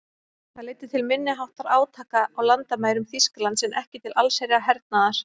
Það leiddi til minniháttar átaka á landamærum Þýskalands en ekki til allsherjar hernaðar.